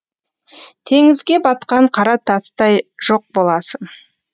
теңізге батқан қара тастай жоқ боласың